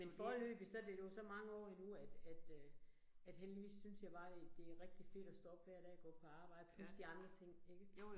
Men foreløbigt, så det jo så mange år endnu at at øh at heldigvis synes jeg bare det det rigtig fedt at stå op hver dag og gå på arbejde, plus de andre ting ikke